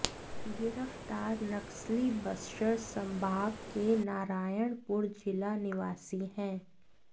गिरफ्तार नक्सली बस्तर संभाग के नारायणपुर जिला निवासी है